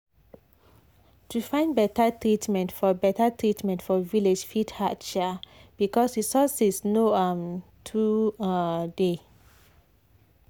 to find better treatment for better treatment for village fit hard um because resources no um too um dey.